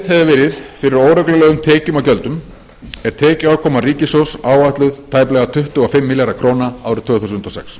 hefur verið fyrir óreglulegum tekjum og gjöldum er tekjuafkoma ríkissjóðs áætluð tæplega tuttugu og fimm milljarðar króna árið tvö þúsund og sex